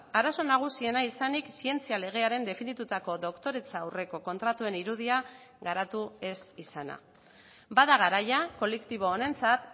arazo nagusiena izanik zientzia legearen definitutako doktoretza aurreko kontratuen irudia garatu ez izana bada garaia kolektibo honentzat